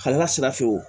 Kalila sira fɛ